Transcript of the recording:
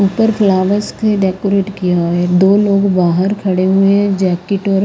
ऊपर फ्लावर्स के डेकोरेट किया है दो लोग बाहर खड़े हुए जैकेट और--